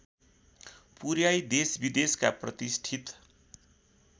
पुर्‍याई देशविदेशका प्रतिष्ठित